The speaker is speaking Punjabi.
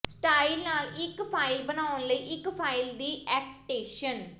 ਸਟਾਇਲ ਨਾਲ ਇੱਕ ਫਾਇਲ ਬਣਾਉਣ ਲਈ ਇੱਕ ਫਾਇਲ ਦੀ ਐਕਟੇਸ਼ਨ